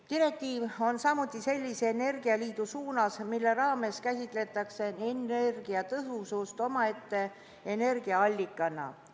Direktiiv on samm sellise energialiidu suunas, mille raames käsitatakse energiatõhusust omaette energiaallikana.